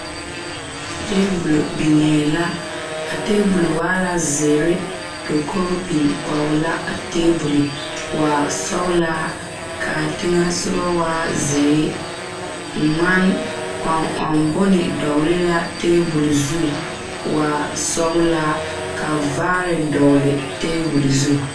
Taabol niŋee la a taabolɔ wa poɔrɔ dakoo biŋ koge la a taabol waa sɔgelaa kaa teŋa soɔ waa zeere ŋman kɔŋ ɔŋ bone dɔgele la taabol zu waa sɔgelaa ka vaare dɔgele taabol zu